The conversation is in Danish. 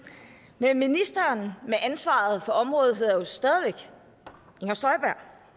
men ministeren med ansvaret for området hedder jo stadig væk inger støjberg